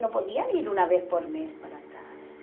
Não podiam ir uma vez por mês para casa.